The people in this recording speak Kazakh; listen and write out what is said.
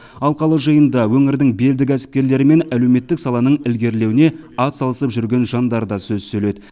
алқалы жиында өңірдің белді кәсіпкерлері мен әлеуметтік саланың ілгерілеуіне атсалысып жүрген жандар да сөз сөйледі